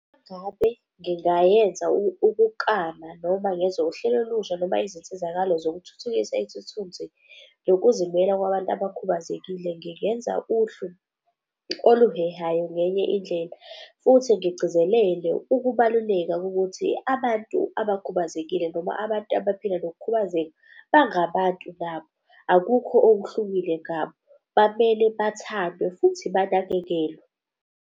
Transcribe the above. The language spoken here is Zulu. Uma ngabe ngingayenza ukuklama noma ngenze uhlelo olusha noma izinsizakalo zokuthuthukisa isithunzi nokuzimela kwabantu abakhubazekile ngingenza uhlu oluhehayo ngenye indlela. Futhi ngigcizelele ukubaluleka kokuthi abantu abakhubazekile noma abantu abaphila nokukhubazeka bangabantu nabo akukho okuhlukile ngabo bamele bathandwe, futhi banakekelwe.